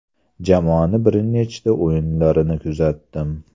Jamoani bir nechta o‘yinlarini kuzatdim.